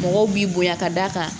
Mɔgɔw b'i bonya ka d'a kan